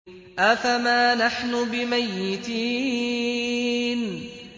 أَفَمَا نَحْنُ بِمَيِّتِينَ